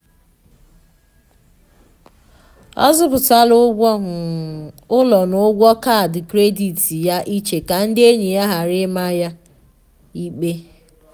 ọ zọpụtara ụgwọ um ụlọ na ụgwọ kaadị kredit ya iche ka ndị enyi ya ghara i ma um ya ịkpe